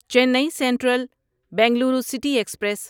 چینی central Bengaluru city express